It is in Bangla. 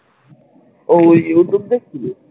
ও youtube দেখছিলি ?